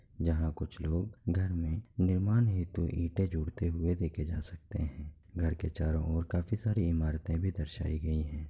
यह कुछ लोग घर में निर्माण हेतू ईटें जोड़ते हुए नज़र आ सकते हैं घर के चारो और काफी सारी इमारतें भी दर्शाइ गयी हैं।